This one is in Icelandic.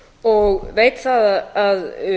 og veit það að